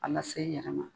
A lase i yɛrɛ ma